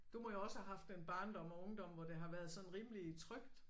Du må jo også have haft en barndom og ungdom hvor det har været sådan rimelig trygt